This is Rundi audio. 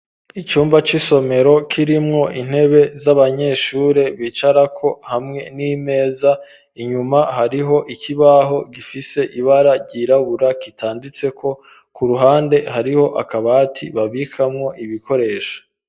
Icumba c'isomero, kirimwo intebe, z'abanyeshure, bicarako, hamwe n'imeza; inyuma, hariho ikibaho, gifise ibara ryirabura, kitanditseko; ku ruhande, hariho akabati, babikamwo ibikoresho.